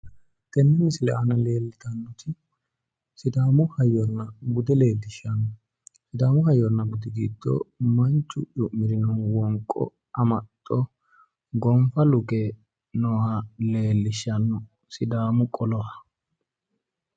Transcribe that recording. Tenne misile aana lellitannoti sidaamu hayyonna bude leellishshanno, sidaamu hayyona budi giddo manchu cu'mirino wonqo amaxxo gonfa luke nooha leellishshanno sidaamu qoloha.